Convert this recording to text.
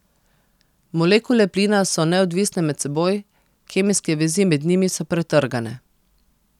Molekule plina so neodvisne med seboj, kemijske vezi med njimi so pretrgane.